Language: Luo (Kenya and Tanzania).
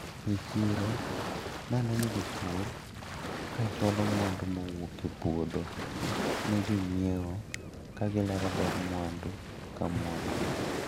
E chiro naneno jopur kachwalo mwandu mowuok e puodho ne jonyiewo kagilero ber mwandu ka mwandu.